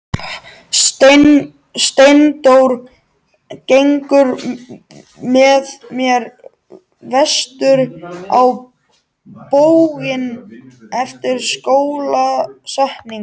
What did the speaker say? Steindór gengur með mér vestur á bóginn eftir skólasetningu.